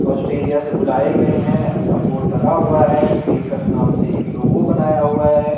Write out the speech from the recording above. Australia से बुलाए गए हैं ऐसा बोर्ड लगा हुआ है बेकर्स नाम से एक लोगो बनाया हुआ है।